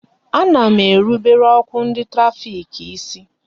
Ana m erubere ọkụ ndị trafik isi